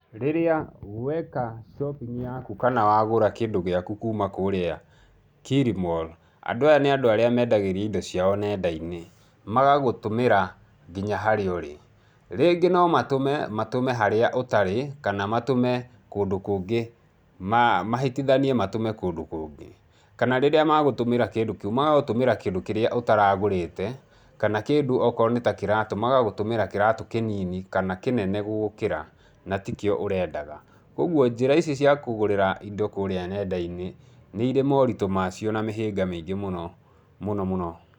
Rĩrĩa weka shopping yaku kana wagũra kĩndũ gĩaku kuuma kũrĩa Kilimal, andũ aya nĩ andũ arĩa mendagĩria indo ciao nenda-inĩ, magagũtũmĩra nginya harĩa ũrĩ. Rĩngĩ no matũme, matũme harĩa ũtarĩ, kana matũme kũndũ kũngĩ, mahĩtithanie matũme kũndũ kũngĩ, kana rĩrĩa magũtũmĩra kĩndũ kĩu magagũtũmĩra kĩndũ kĩrĩa ũtaragũrĩte, kana kĩndũ okorwo nĩ ta kĩratũ magagũtũmĩra kĩratũ kĩnini kana kĩnene gũgũkĩra na tikĩo ũrendaga. Ũguo njĩra ici cia kũgũrĩra indo kũrĩa nenda-inĩ nĩ irĩ moritũ macio na mĩhĩnga mĩingĩ mũno, mũno mũno.